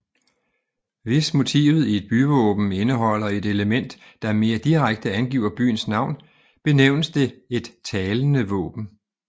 Hvis motivet i et byvåben indeholder et element der mere direkte angiver byens navn benævnes det et talende våben